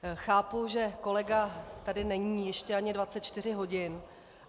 Chápu, že kolega tady není ještě ani 24 hodin.